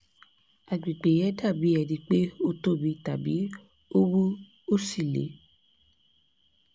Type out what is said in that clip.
agbègbè yẹn dàbí ẹni pé ó tóbi tàbí ó wú ó sì le